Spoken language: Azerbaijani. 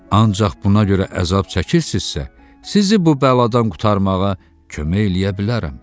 Ancaq buna görə əzab çəkirsinizsə, sizi bu bəladan qurtarmağa kömək eləyə bilərəm.